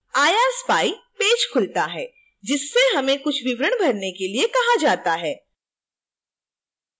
irspy page खुलता है जिससे हमें कुछ विवरण भरने के लिए कहा जाता है